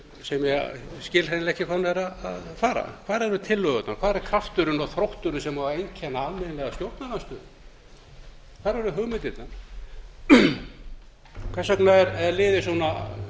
ég skil hreinlega ekki hvað hún er að fara hvar eru tillögurnar hvar er krafturinn og þrótturinn sem á að einkenna almennilega stjórnarandstöðu hvar eru hugmyndirnar hvers vegna er liðið svona